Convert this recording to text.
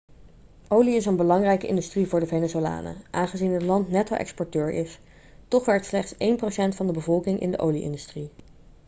olie is een belangrijke industrie voor de venezolanen aangezien het land netto-exporteur is toch werkt slechts één procent van de bevolking in de olie-industrie